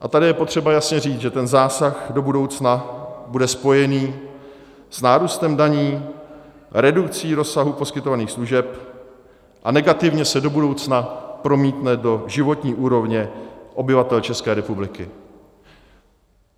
A tady je potřeba jasně říct, že ten zásah do budoucna bude spojen s nárůstem daní, redukcí rozsahu poskytovaných služeb a negativně se do budoucna promítne do životní úrovně obyvatel České republiky.